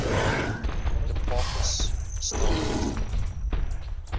hipparchus star catalog